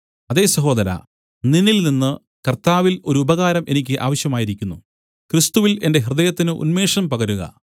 അതേ സഹോദരാ നിന്നിൽനിന്ന് കർത്താവിൽ ഒരു ഉപകാരം എനിക്ക് ആവശ്യമായിരിക്കുന്നു ക്രിസ്തുവിൽ എന്റെ ഹൃദയത്തിന് ഉന്മേഷം പകരുക